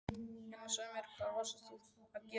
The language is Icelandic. Einar, segðu mér hvað varst þú að gera hérna?